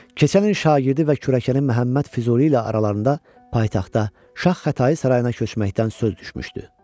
Keçən il şagirdi və kürəkəni Məhəmməd Füzuli ilə aralarında paytaxtda Şah Xətai sarayına köçməkdən söz düşmüşdü.